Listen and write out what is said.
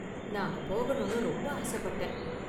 நான் அங்க போகணும்னு ரொம்ப ஆசப்பட்டேன்.